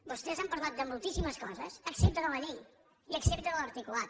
vostès han parlat de moltíssimes coses excepte de la llei i excepte de l’articulat